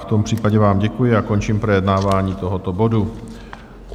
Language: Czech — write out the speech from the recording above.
V tom případě vám děkuji a končím projednávání tohoto bodu.